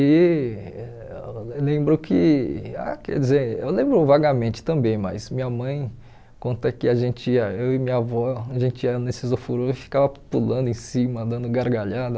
E lembro que, ah quer dizer, eu lembro vagamente também, mas minha mãe, quanto é que a gente ia, eu e minha avó, a gente ia nesses ofurô, eu ficava pulando em cima, dando gargalhada.